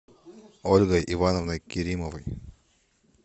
ольгой ивановной керимовой